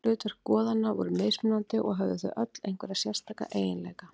Hlutverk goðanna voru mismunandi og höfðu þau öll einhverja sérstaka eiginleika.